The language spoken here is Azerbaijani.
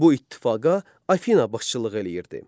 Bu ittifaqa Afina başçılığı eləyirdi.